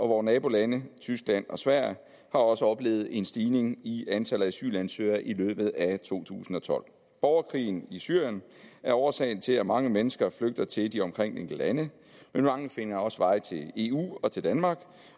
vore nabolande tyskland og sverige har også oplevet en stigning i antallet af asylansøgere i løbet af to tusind og tolv borgerkrigen i syrien er årsag til at mange mennesker flygter til de omkringliggende lande men mange finder også vej til eu og til danmark